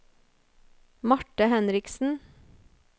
Marthe Henriksen